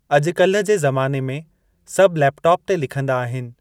अॼुकल्हि जे ज़माने में सभ लैपटॉप ते लिखंदा आहिनि।